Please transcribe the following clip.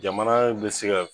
Jamana in bɛ se ka